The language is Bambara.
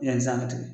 Yanni san ka tigɛ